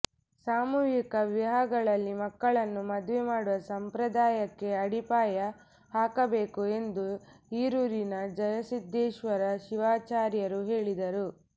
ಸಾಮೂಹಿಕ ವಿವಾಹಗಳಲ್ಲಿ ಮಕ್ಕಳನ್ನು ಮದುವೆ ಮಾಡುವ ಸಂಪ್ರದಾಯಕ್ಕೆ ಅಡಿಯಪಾಯ ಹಾಕಬೇಕು ಎಂದು ಹಿರೂರಿನ ಜಯಸಿದ್ಧೇಶ್ವರ ಶಿವಾಚಾರ್ಯರು ಹೇಳಿದರು